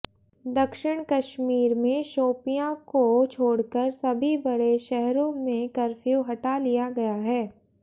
दक्षिण कश्मीर में शोपियां को छोड़कर सभी बड़े शहरों से कफ्र्यू हटा लिया गया है